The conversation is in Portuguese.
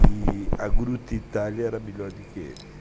E a Grutta Italia era melhor do que ele.